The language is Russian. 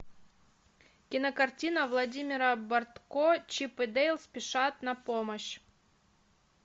кинокартина владимира бортко чип и дейл спешат на помощь